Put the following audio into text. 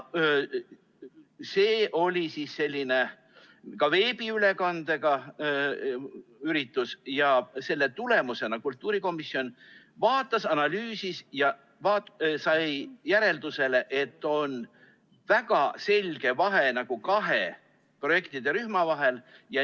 See oli veebiülekandega üritus ja selle tulemusena kultuurikomisjon vaatas, analüüsis ja jõudis järeldusele, et on väga selge vahe kahe projektide rühma vahel.